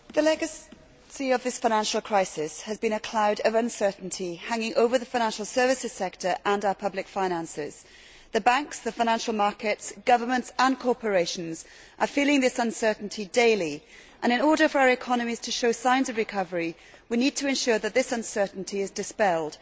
Madam President, the legacy of this financial crisis has been a cloud of uncertainty hanging over the financial services sector and our public finances. The banks, the financial markets, governments and corporations are feeling this uncertainty daily, and in order for our economies to show signs of recovery, we need to ensure that this uncertainty is dispelled.